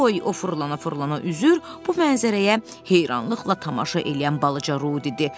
Oy, o fırlana-fırlana üzür, bu mənzərəyə heyranlıqla tamaşa eləyən balaca Ru dedi.